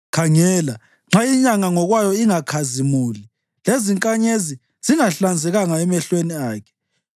Khangela, nxa inyanga ngokwayo ingakhazimuli, lezinkanyezi zingahlanzekanga emehlweni akhe,